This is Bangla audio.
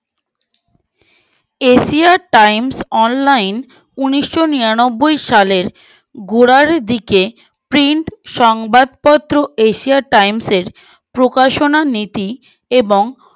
Evaer time online ঊনিশো নিরানবোই সালে গোড়ার দিকে print সংবাদপত্র asia times এ প্রকাশনা নীতি এবং